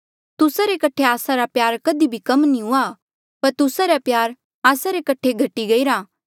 तुस्सा रे कठे आस्सा रा प्यार कधी कम नी हुआ पर तुस्सा रा प्यार आस्सा रे कठे घटी गईरा